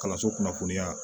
Kalanso kunnafoniya